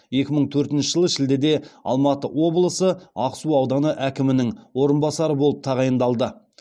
екі мың төртінші жылы шілдеде алматы облысы ақсу ауданы әкімнің орынбасары болып тағайындалды